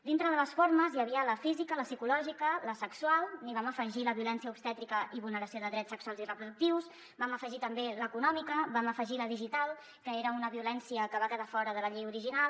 dintre de les formes hi havia la física la psicològica la sexual hi vam afegir la violència obstètrica i vulneració de drets sexuals i reproductius vam afegir també l’econòmica vam afegir la digital que era una violència que va quedar fora de la llei original